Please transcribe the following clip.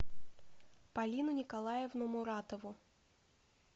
полину николаевну муратову